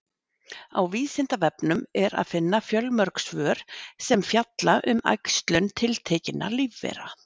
Á Vísindavefnum er að finna fjölmörg svör sem fjalla um æxlun tiltekinna lífvera.